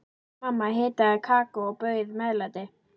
Mamma hitaði kakó og bauð meðlæti.